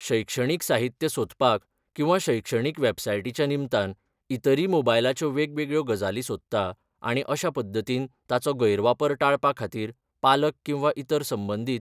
शैक्षणीक साहित्य सोदपाक किंवां शैक्षणीक वेबसायटीच्या निमतान इतरी मोबायलाच्यो वेगवेगळ्यो गजाली सोदता आणी अशा पद्दतीन ताजो गैर वापर टाळपा खातीर पालक किंवां इतर संबंदीत